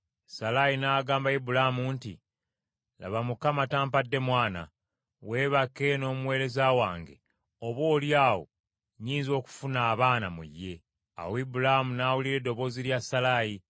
Salaayi n’agamba Ibulaamu nti, “Laba Mukama tampadde mwana; weebake n’omuweereza wange, oboolyawo nnyinza okufuna abaana mu ye.” Awo Ibulaamu n’awulira eddoboozi lya Salaayi.